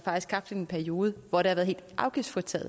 en periode man får til at